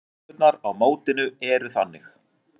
Reglurnar á mótinu eru þannig: